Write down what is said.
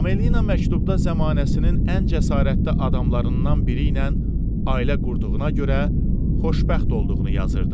Amelina məktubda zəmanəsinin ən cəsarətli adamlarından biri ilə ailə qurduğuna görə xoşbəxt olduğunu yazırdı.